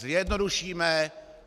Zjednodušíme.